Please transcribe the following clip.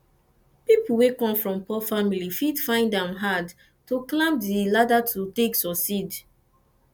pipo wey come from poor family fit find am hard to climb di ladder to take succeed